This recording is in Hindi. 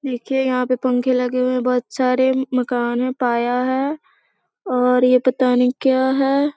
देखिये यहाँ पे पंखे लगे हुए हैं। बहुत सारे मकान हैं पाया है और ये पता नहीं क्या है।